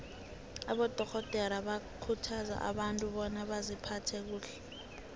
abadorhodere bakhuthaza abantu bona baziphathe kuhle